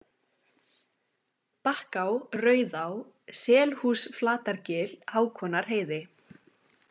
Bakká, Rauðá, Selhúsflatargil, Hákonarheiði